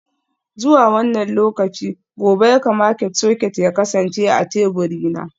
Zuwa wannan lokaci gobe ya kamata soket ya kasance a teburina.